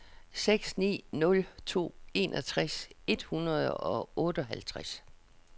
seks ni nul to enogtres et hundrede og otteoghalvtreds